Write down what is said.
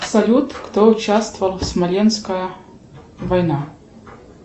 салют кто участвовал в смоленская война